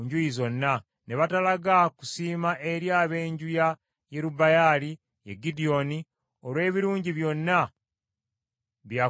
Ne batalaga kusiima eri ab’enju ya Yerubbaali, ye Gidyoni, olw’ebirungi byonna bye yakolera Isirayiri.